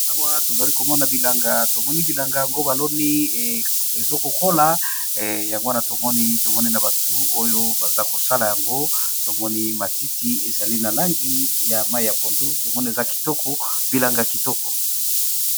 Awa tozali komona bilanga tomoni bilanga yango baloni ezokola yango wana tomoni na batu oyo baza kosala yango tomoni matiti ezali na langi ya mai ya pondu tomoni eza bilanga kitoko.